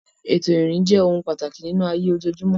Ètò ìrìn jẹ́ ohun pàtàkì nínú ayé ojoojúmọ́.